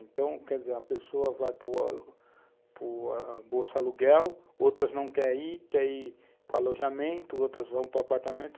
Então, quer dizer, uma pessoa vai para a bolsa-aluguel, outras não querem ir, querem ir para o alojamento, outras vão para o apartamento.